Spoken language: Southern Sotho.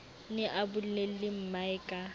ne a bolelle mmae ka